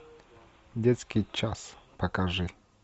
детский час покажи